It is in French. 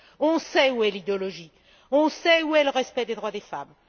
On sait où est l'idéologie, on sait où est le respect des droits des femmes.